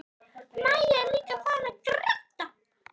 Maja er líka farin að gráta.